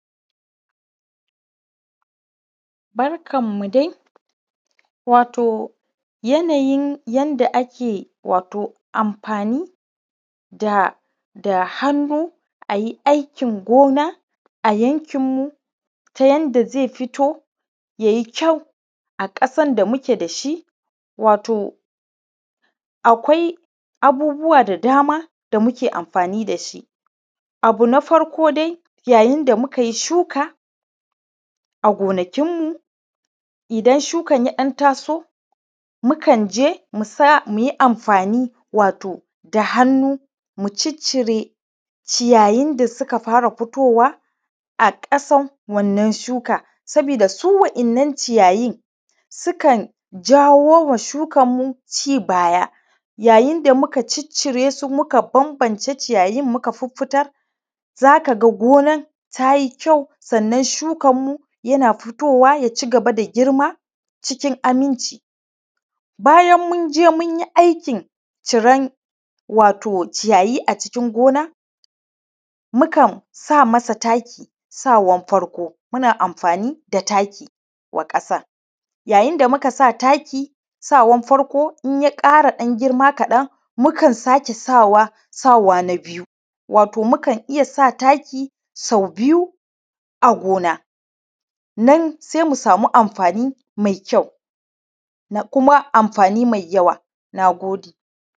Barkan mu dai wato yanayi yanda ake amfani da hannu ayi aikin gona a yankin mu ta yanda zaki fito yayi kyau a ƙasan da muke da shi wato akai abubuwa da dama da muke amfani dashi. Abu na farko dai yayin da mukai shuka a gona kinmu idan shukan yaɗan taso mukan musa muyi amfani wato da hannu muciccire wato ciyayin da suka fara futowa a ƙasan wa ‘yan’ nan shuka, saboda su wa ‘yan’ nan ciyayi sukan jawoma shukan ci baya yayin da muka cicciresu muka banbance yiyayin muka fiffitar zaka gonan tayi kyau sannan shukan mu yana fitowa da kyau ya girma cikin aminci. Bayan munje munyi aikin ciran wato ciyayi a cikin gona mukan sa masa taki sawan farko muna amfani da taki wa ƙasan ya yinda muka sa taki sawan farko inya ƙara ɗan girma kaɗan mukan kara sawa, sawa na biyu wato mukan iyya sa taki sau biyu a gona sai mu samu amfani mai kuma da kuma amfani mai yawa. Nagode